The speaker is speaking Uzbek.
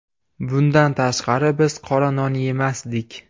Bundan tashqari biz qora non yemasdik.